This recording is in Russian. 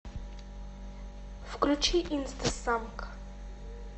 включи инстасамка